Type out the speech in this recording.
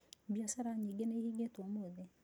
Biacara nyingĩ nĩ ihingĩtwo ũmũthĩ.